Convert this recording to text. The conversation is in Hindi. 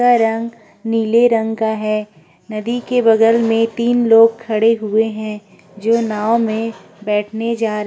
जिसका रंग नीले रंग का है। नदी के बगल में तीन लोग खड़े हुए हैं जो नाव में बैठने जा रहे हैं।